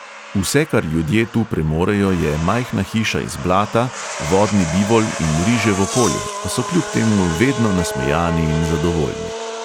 Vse, kar ljudje tu premorejo, je majhna hiša iz blata, vodni bivol in riževo polje, pa so kljub temu vedno nasmejani in zadovoljni.